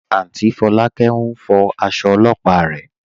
Áùntý Fọ̀lákẹ̀ n fọ̀ àṣọ̀ ọ̀lọ́pà rẹ.